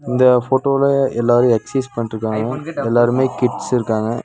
இந்த ஃபோட்டோல எல்லாரு எக்சைஸ் பண்ட்ருக்காங்க எல்லாருமே கிட்ஸ் இருக்காங்க.